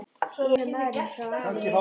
Ég er ekki gamli maðurinn frá hafinu.